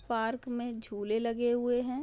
Park मे झूले लगे हुए है।